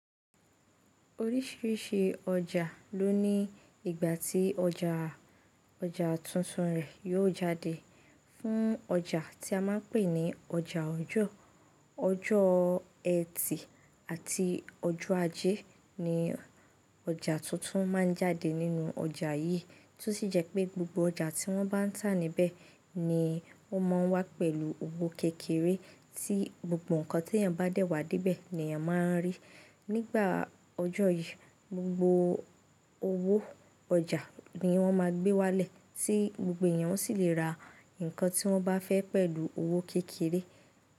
Oríṣiríṣi ọjà ló ní ìgbà tí ọjà ọjà tuntun rẹ̀ yóò jáde. Fún ọjà tí a máa ń pè ní ọjà ọjoọ́, ọjọ́ ẹtì àti ọjọ́ ajé ni ọjà tuntun má a ń jáde nínú ọjà yìí. Tí ó sì jẹ́ pé gbogbo ọjà tí wọ́n bá ń tà níbẹ̀ ni ó máa ń wá pẹ̀lú owó kékeré tí gbogbo nǹkan tí èèyàn bá dẹ̀ wá dé bẹ̀ ni èèyàn má a ń rí. Nígbà ọjọ́ yìí, gbogbo owó ọjà ni wọ́n máa gbé wálẹ̀ tí gbogbo èèyàn sì lè ra nǹkan tí wọ́n bá fẹ́ pẹ̀lú owó kékeré.